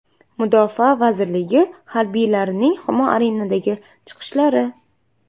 Mudofaa vazirligi harbiylarining Humo Arena’dagi chiqishlari.